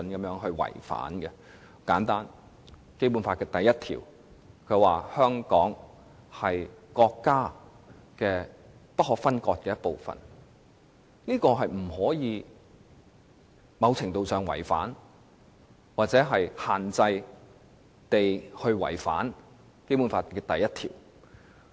例如，根據《基本法》第一條，香港是國家不可分割的一部分，因此不可能出現某程度違反或限制違反《基本法》第一條的情況。